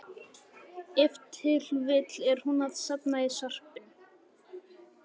Ef til vill er hún að safna í sarpinn.